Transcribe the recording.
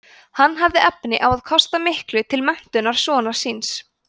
hann hafði efni á að kosta miklu til menntunar sonar síns